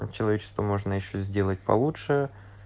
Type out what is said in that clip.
человечество можно ещё сделать получше